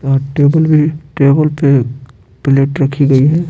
और टेबल भी टेबल पे प्लेट रखी गई है।